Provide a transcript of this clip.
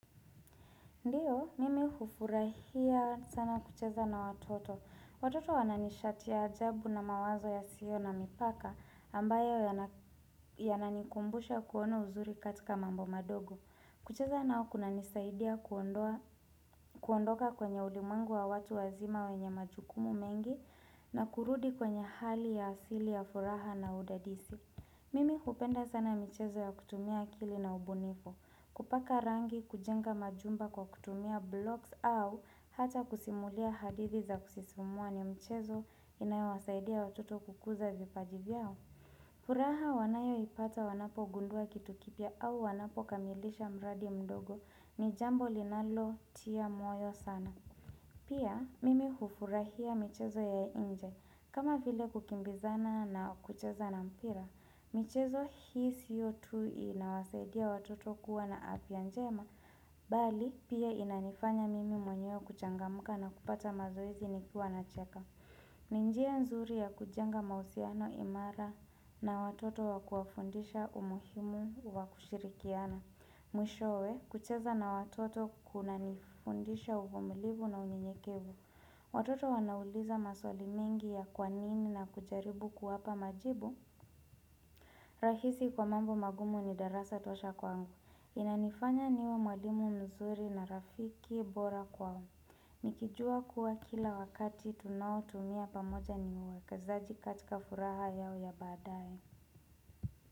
Ndio, mimi hufurahia sana kucheza na watoto. Watoto wananishati ya ajabu na mawazo ya sio na mipaka ambayo yana yananikumbusha kuona uzuri katika mambo madogo. Kucheza nao kuna nisaidia kuondoka kwenye ulimwengu wa watu wazima wenye majukumu mengi na kurudi kwenye hali ya asili ya furaha na udadisi. Mimi hupenda sana michezo ya kutumia akili na ubunifu, kupaka rangi kujenga majumba kwa kutumia blocks au hata kusimulia hadithi za kusisimua ni mchezo inayo wasaidia watoto kukuza vipaji vyao. Furaha wanayoipata wanapogundua kitu kipya au wanapo kamilisha mradi mdogo ni jambo linalotia moyo sana. Pia mimi hufurahia michezo ya inje. Kama vile kukimbizana na kucheza na mpira, michezo hii sio tu inawasaidia watoto kuwa na afya njema, bali pia inanifanya mimi mwenyewe kuchangamka na kupata mazoezi ni kiwa na cheka. Ni njia nzuri ya kujenga mahusiano imara na watoto wa kuwafundisha umuhimu wa kushirikiana. Mwishowe kucheza na watoto kuna nifundisha uvumulivu na unyekevu. Watoto wanauliza maswali mingi ya kwanini na kujaribu kuwapa majibu. Rahisi kwa mambo magumu ni darasa tosha kwangu. Inanifanya niwe mwalimu mzuri na rafiki bora kwao. Nikijua kuwa kila wakati tunaotumia pamoja ni uwekezaji katika furaha yao ya badae.